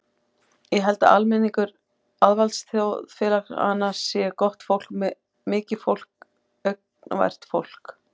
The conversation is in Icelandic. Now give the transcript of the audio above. Ég held að almenningur auðvaldsþjóðfélaganna sé gott fólk, mikið fólk, angurvært fólk.